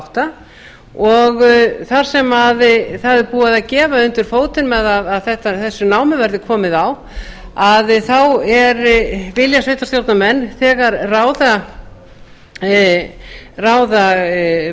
átta og þar sem það er búið að gefa undir fótinn með að þessu námi verði komið á að þá vilja sveitarstjórnarmenn þegar ráða